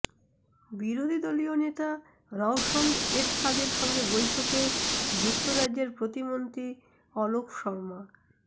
বিরোধী দলীয় নেতা রওশন এরশাদের সঙ্গে বৈঠকে যুক্তরাজ্যের প্রতিমন্ত্রী অলক শর্মা